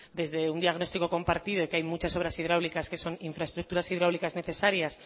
desde un diagnóstico compartido y que hay muchas obras hidráulicas que son infraestructuras hidráulicas necesarias